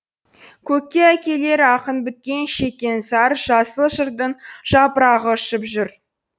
көкке әкелер ақын біткен шеккен зар жасыл жырдың жапырағы ұшып жүр